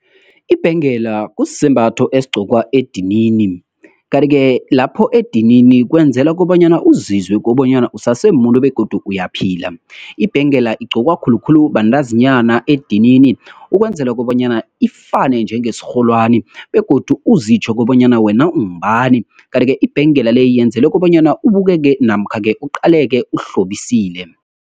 Ibhengela kusisembatho esigcokwa edinini, kanti-ke lapho edinini kwenzela kobanyana uzizwe kobanyana usase muntu begodu uyaphila. Ibhengela igqokwa khulukhulu bantazinyana edinini, ukwenzela kobanyana ifane njengesirholwani, begodu uzitjho kobanyana wena ungubani. kanti-ke, ibhengela le, yenzelwe kobanyana abukeke, namkha-ke kuqaleke uhlobisile.